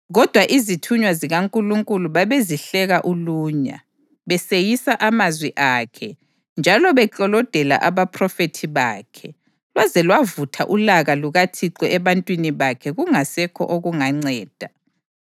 Kodwa izithunywa zikaNkulunkulu babezihleka ulunya, beseyisa amazwi akhe njalo beklolodela abaphrofethi bakhe lwaze lwavutha ulaka lukaThixo ebantwini bakhe kungasekho okunganceda.